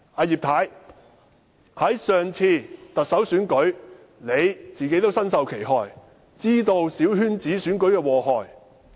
葉太在上次特首選舉中也身受其害，知道小圈子選舉的禍害。